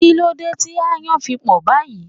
Kí ló dé tí ayan fi pò báyìí?